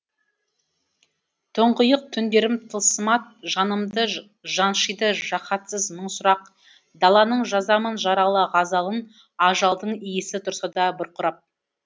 тұңғиық түндерім тылсымат жанымды жаншыйды жаһатсыз мың сұрақ даланың жазамын жаралы ғазалын ажалдың иісі тұрса да бұрқырап